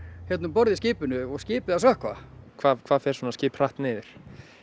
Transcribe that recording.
hérna um borð í skipinu og skipið að sökkva hvað hvað fer svona skip hratt niður